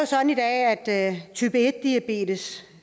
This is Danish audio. sådan i dag at en i type en diabetes